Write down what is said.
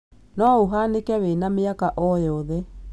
No ũhanĩke wĩna mĩaka o yothe.